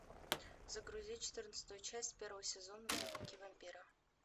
загрузи четырнадцатую часть первого сезона дневники вампира